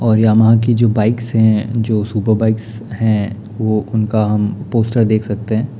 और यामाहा की जो बाइक्स है जो सुपर बाइक्स है वो उनका हम पोस्टर देख सकते हैं ।